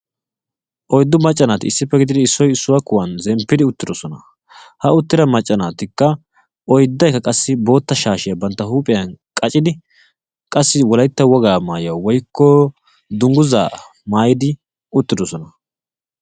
Oyddu maca naati issippe gididdi issoy issuwa kuwan shempposonna. Ettikka wolaytta wogaa shaashshiya qacciddosonna.